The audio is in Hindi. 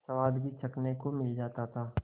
स्वाद भी चखने को मिल जाता था